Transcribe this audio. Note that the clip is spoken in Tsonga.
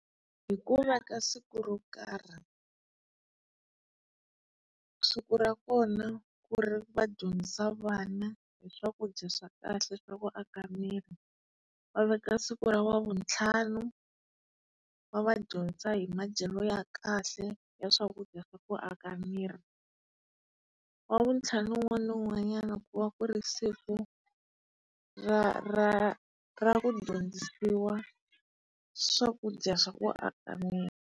Hikuva ka siku ro karhi siku ra kona ku ri va dyondzisa vana hi swakudya swa kahle swa ku aka miri. Va veka siku ra ravuntlhanu, va va dyondzisa hi madyelo ya kahle ya swakudya swa ku aka miri. Wavuntlhanu wun'wana na wun'wanyana ku va ku ri siku ra ra ra ku dyondzisiwa swakudya swa ku aka miri.